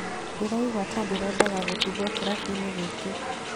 "Ndĩraigua ta ndĩrendaga gũtigwo kĩrabuinĩ gĩkĩ.